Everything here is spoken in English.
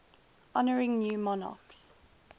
honouring new monarchs